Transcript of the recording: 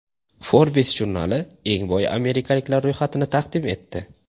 Forbes jurnali eng boy amerikaliklar ro‘yxatini taqdim etdi.